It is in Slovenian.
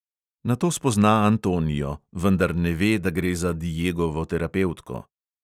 Nato spozna antonio, vendar ne ve, da gre za diegovo terapevtko.